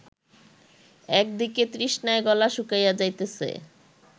একদিকে তৃষ্ণায় গলা শুকাইয়া যাইতেছে